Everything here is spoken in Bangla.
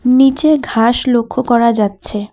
নীচে ঘাস লক্ষ্য করা যাচ্ছে।